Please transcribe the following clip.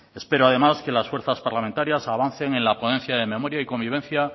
espero además que las fuerzas parlamentarias avancen en la ponencia de memoria y convivencia